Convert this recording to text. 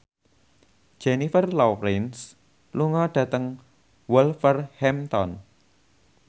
Jennifer Lawrence lunga dhateng Wolverhampton